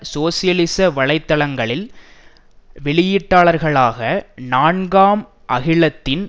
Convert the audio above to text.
சோசியலிச வலை தளங்களில் வெளியீட்டாளர்களாக நான்காம் அகிலத்தின்